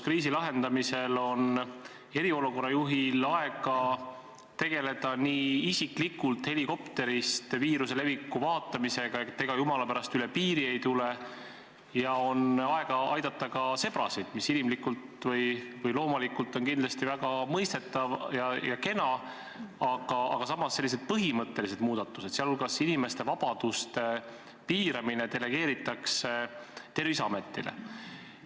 Kriisi lahendamisel on eriolukorra juhil aega tegeleda isiklikult helikopterist viiruse leviku vaatlemisega, et see jumala pärast üle piiri ei tuleks, ja tal on aega aidata ka sebrasid, mis inimlikult või loomalikult on kindlasti väga mõistetav ja kena, aga selliste põhimõtteliste muudatuste tegemine, sh inimeste vabaduste piiramine, delegeeritakse Terviseametile.